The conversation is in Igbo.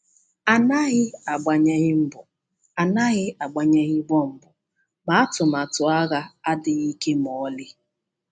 A naghị agbanyeghị mgbọ, a naghị agbanyeghị bọmbụ, ma atụmatụ agha adịghị ike ma ọlị